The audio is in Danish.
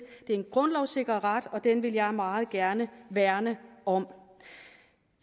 det er en grundlovssikret ret og den vil jeg meget gerne værne om